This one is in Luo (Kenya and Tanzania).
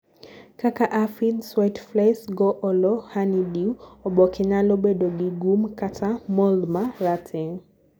kaka aphids, whiteflies goolo honeydew, oboke nyalo bedo gi gum kata mould ma rateng'